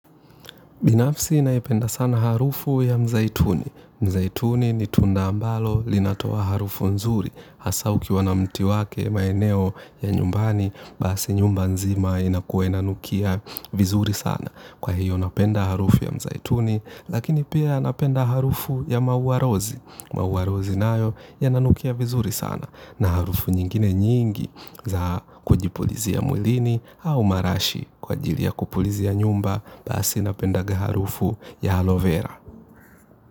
Binafsi naipenda sana harufu ya mzaituni. Mzaituni ni tunda ambalo linatoa harufu nzuri hasa ukiwa na mti wake maeneo ya nyumbani basi nyumba nzima inakuwa inanukia vizuri sana. Kwa hiyo napenda harufu ya mzaituni, lakini pia napenda harufu ya maua rozi. Maua rozi nayo yananukia vizuri sana na harufu nyingine nyingi za kujipulizia mwilini au marashi kwa ajili ya kupulizia nyumba, basi napenda harufu ya aloe vera.